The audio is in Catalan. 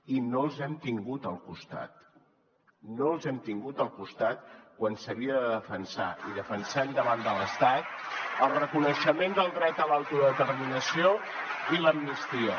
i no els hem tingut al costat no els hem tingut al costat quan s’havia de defensar i defensem davant de l’estat el reconeixement del dret a l’autodeterminació i l’amnistia